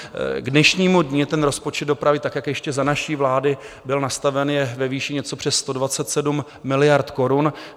K dnešnímu dni ten rozpočet dopravy, tak jak ještě za naší vlády byl nastaven, je ve výši něco přes 127 miliard korun.